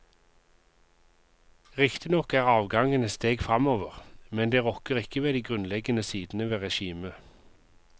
Riktignok er avgangen et steg fremover, med det rokker ikke ved de grunnleggende sidene ved regimet.